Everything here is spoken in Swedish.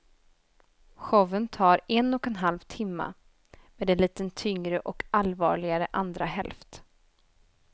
Showen tar en och en halv timme med en lite tyngre och allvarligare andra hälft.